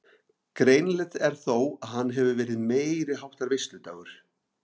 Greinilegt er þó að hann hefur verið meiriháttar veisludagur.